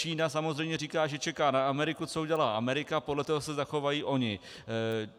Čína samozřejmě říká, že čeká na Ameriku, co udělá Amerika, podle toho se zachovají oni.